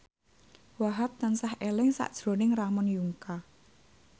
Wahhab tansah eling sakjroning Ramon Yungka